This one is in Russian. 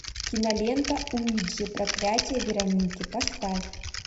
кинолента уиджи проклятие вероники поставь